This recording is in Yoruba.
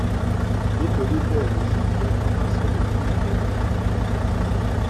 nítorí bẹẹ ló ṣe jẹ bó bá sọrọ èèyàn gbọdọ fetí balẹ sí i ni i ni